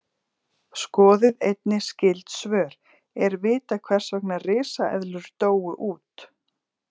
Skoðið einnig skyld svör: Er vitað hvers vegna risaeðlur dóu út?